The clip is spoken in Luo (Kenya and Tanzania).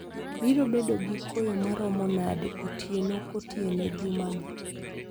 Biro bedo gi koyo maromo nade otieno kotieno jumani